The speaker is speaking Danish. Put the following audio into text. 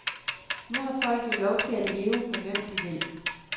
Nu har folk jo lov til at leve med hvem de vil.